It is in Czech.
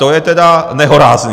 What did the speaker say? To je tedy nehorázné.